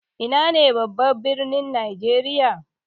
Ina ne babban birnin najeriya?